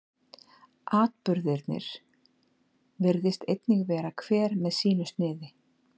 atburðirnir virðist einnig vera hver með sínu sniði